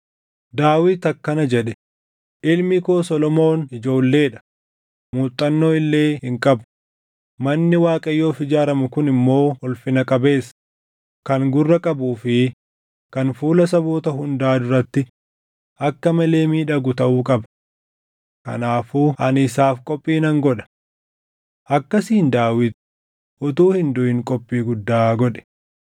Daawit akkana jedhe; “Ilmi koo Solomoon ijoollee dha; muuxannoo illee hin qabu. Manni Waaqayyoof ijaaramu kun immoo ulfina qabeessa, kan gurra qabuu fi kan fuula saboota hundaa duratti akka malee miidhagu taʼuu qaba. Kanaafuu ani isaaf qophii nan godha.” Akkasiin Daawit utuu hin duʼin qophii guddaa godhe.